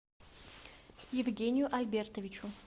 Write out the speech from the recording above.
евгению альбертовичу